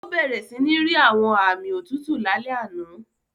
Ó bẹ̀rẹ̀ sí ní rí àwọn aami òtútù lálẹ́ àná.